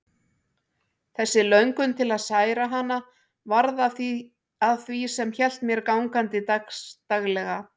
Þessi löngun til að særa hana varð að því sem hélt mér gangandi dagsdaglega.